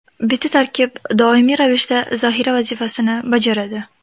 Bitta tarkib doimiy ravishda zaxira vazifasini bajaradi.